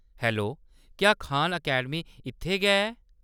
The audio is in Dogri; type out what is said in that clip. हैलो, क्या खान अकैडमी इत्थै गै ऐ ?